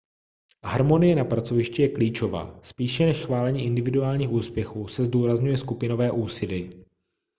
harmonie na pracovišti je klíčová spíše než chválení individuálních úspěchů se zdůrazňuje skupinové úsilí